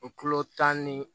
O kilo tanani